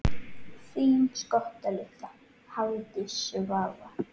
Þín skotta litla, Hafdís Svava.